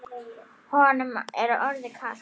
Honum er orðið kalt.